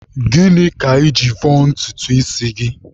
Gịnị ka I ji vọọ ntutu isi gị?